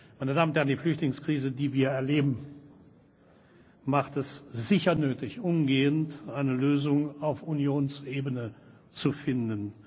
Meine Damen und Herren, die Flüchtlingskrise, die wir erleben, macht es sicher nötig, umgehend eine Lösung auf Unionsebene zu finden.